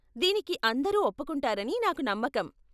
దీనికి అందరూ ఒప్పుకుంటారని నాకు నమ్మకం.